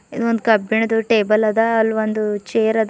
ಇದ್ ಒಂದ್ ಕಬ್ಬಿಣದ್ದು ಟೇಬಲ್ ಅದ ಅಲ್ ಒಂದು ಚೇರ್ ಅದ.